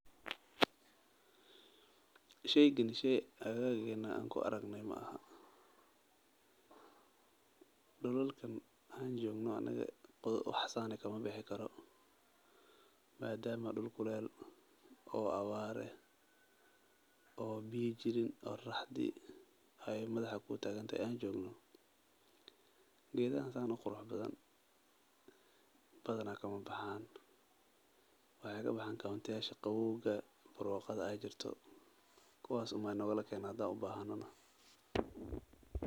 Sheygan sheey akteena aan ku aragne maahan dulalka aan joogno anaga wax saan ah kama bixi karo madama aan meel kulul joogno.